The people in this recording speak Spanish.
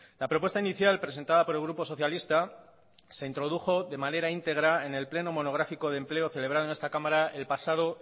la propuesta inicial presentada por el grupo socialista se introdujo de manera integra en el pleno monográfico de empleo celebrado en esta cámara el pasado